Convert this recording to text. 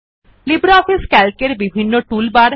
LibreOffice C A L C এর বিভিন্ন toolbar